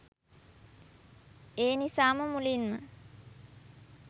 ඒනිසාම මුලින්ම